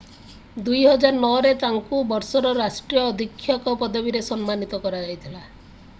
2009 ରେ ତାଙ୍କୁ ବର୍ଷର ରାଷ୍ଟ୍ରୀୟ ଅଧୀକ୍ଷକ ପଦବୀରେ ସମ୍ମାନିତ କରାଯାଇଥିଲା